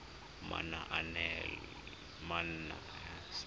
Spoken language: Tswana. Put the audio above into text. manaanepalo